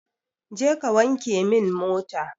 Je kawanke min mota.